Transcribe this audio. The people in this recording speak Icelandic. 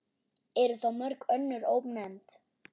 Eru þá mörg önnur ónefnd.